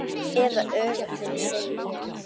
Eða öfugt, segi ég.